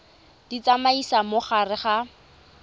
di tsamaisa mo gare ga